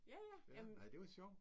Ja ja. Ja hun